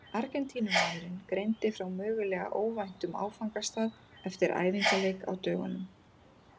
Argentínumaðurinn greindi frá mögulega óvæntum áfangastað eftir æfingaleik á dögunum.